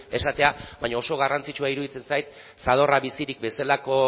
esatea baina oso garrantzitsua iruditzen zait zadorra bizirik bezalako